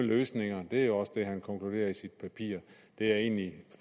løsninger det er også det han konkluderer i sit papir og det er jeg egentlig